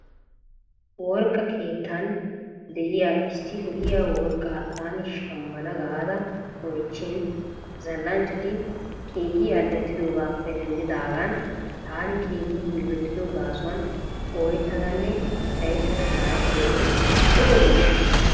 Worqqa keettan de'iya issi lo'iya worrqqa taani shamana gaada oychin zal'anchati keehi al'ettidoogappe denddidagan taani keehi yillotado gaasuwan ooyetadanne cayettada shaahetooge lo'obeshsha?